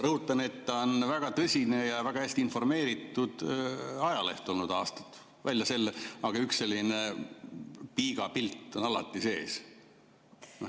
Rõhutan, et see on aastaid olnud väga tõsine ja väga hästi informeeritud ajaleht, aga üks selline piiga pilt on alati sees olnud.